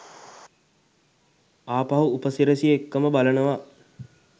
ආපහු උපසිරැසි එක්කම බලනවා.